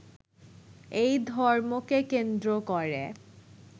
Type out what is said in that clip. এই ধর্মকে কেন্দ্র করে